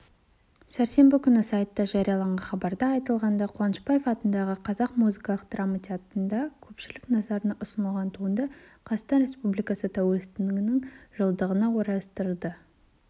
сәрсенбі күні сайтта жарияланған хабарда айтылғандай қуанышбаев атындағы қазақ музыкалық драма театрында көпшілік назарына ұсынылған туынды қазақстан республикасы тәуелсіздігінің жылдығына орайластырылды